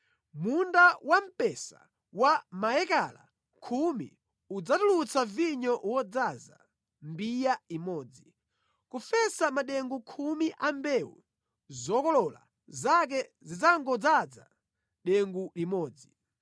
Munda wamphesa wa maekala khumi udzatulutsa vinyo wodzaza mbiya imodzi, kufesa madengu khumi a mbewu, zokolola zake zidzangodzaza dengu limodzi.”